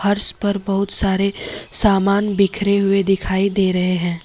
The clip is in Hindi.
फर्श पर बहुत सारे सामान बिखरे हुए दिखाई दे रहे हैं।